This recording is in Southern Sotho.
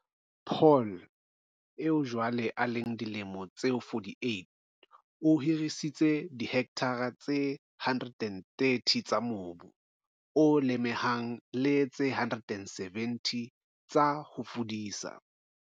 Paul, eo jwale a leng dilemo tse 48 o hirisitse dihekthara tse 130 tsa mobu o lemehang le tse 170 tsa ho fudisa.